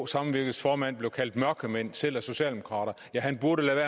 samvirkes formand blev kaldt mørkemand af selv socialdemokrater ja han burde lade